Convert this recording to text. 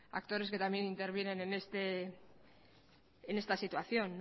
actores que también intervienen en esta situación